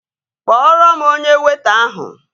Kpọrọ m onye weịta ahụ!